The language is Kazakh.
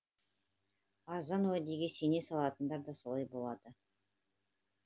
арзан уәдеге сене салатындар да солай болады